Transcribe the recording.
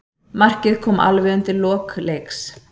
Markið kom alveg undir lok leiks.